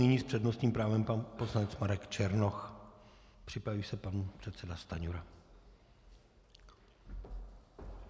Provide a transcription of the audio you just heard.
Nyní s přednostním právem pan poslanec Marek Černoch, připraví se pan předseda Stanjura.